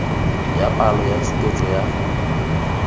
ya palo ya tshupetso ya